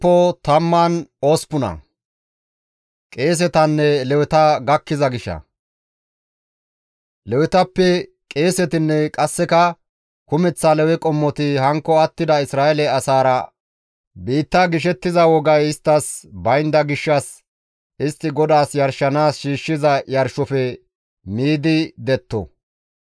Lewetappe qeesetinne qasseka kumeththa Lewe qommoti hankko attida Isra7eele asaara biitta gishettiza wogay isttas baynda gishshas istti GODAAS yarshanaas shiishshiza yarshofe miidi detto.